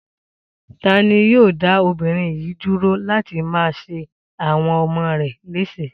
Ta ni yóò dá obìnrin yìí dúró láti má ṣe àwọn ọmọ rẹ̀ léṣe?